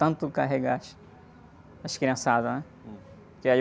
De tanto carregar as, as criançadas, né?um.orque aí...